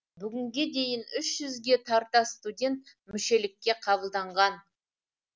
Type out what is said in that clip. бүгінге дейін үш жүзге тарта студент мүшелікке қабылданған